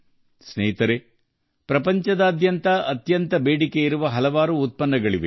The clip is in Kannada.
ಸ್ನೇಹಿತರೆ ವಿಶ್ವಾದ್ಯಂತ ಹೆಚ್ಚಿನ ಬೇಡಿಕೆಯಲ್ಲಿರುವ ಭಾರತದ ಹಲವಾರು ಉತ್ಪನ್ನಗಳಿವೆ